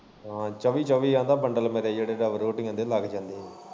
ਹਾਂ ਚੋਬੀ ਚੋਬੀ ਆਂਦਾ ਬੰਡਲ ਮੇਰੇ ਡੱਬਲਰੋਟੀਆਂ ਦੇ ਲੱਗ ਜਾਂਦੇ ਐ।